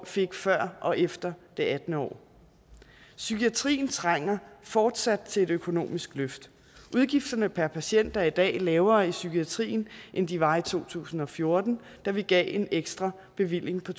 fik før og efter det attende år psykiatrien trænger fortsat til et økonomisk løft udgifterne per patient er i dag lavere i psykiatrien end de var i to tusind og fjorten da vi gav en ekstra bevilling på